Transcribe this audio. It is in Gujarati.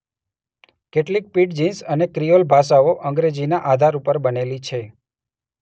કેટલીક પિડજિન્સ અને ક્રિઓલ ભાષાઓ અંગ્રેજીના આધાર ઉપર બનેલી છે.